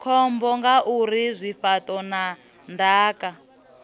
khombo ngauri zwifhaṱo na ndaka